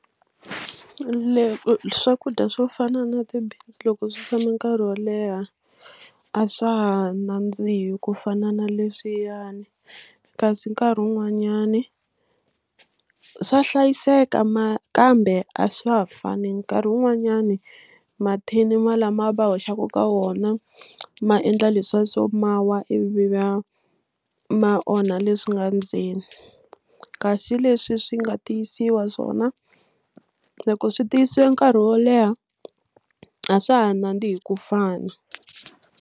swakudya swo fana na ti-beans loko swi tshame nkarhi wo leha a swa ha nandzihi ku fana na leswiyani kasi nkarhi wun'wanyani a swa hlayiseka ma kambe a swa ha fani nkarhi wun'wanyani mathini ma lama va hoxaka ka wona ma endla leswiya swo ma wa ivi va ma onha leswi nga ndzeni kasi leswi swi nga tiyisiwa swona loko swi tiyisiwe nkarhi wo leha a swa ha nandzihi ku fana.